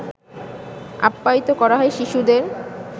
আপ্যায়িত করা হয় শিশুদের